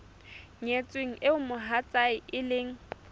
nyetsweng eo mohatsae e leng